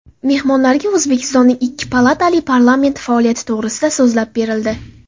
Mehmonlarga O‘zbekistonning ikki palatali parlamenti faoliyati to‘g‘risida so‘zlab berildi.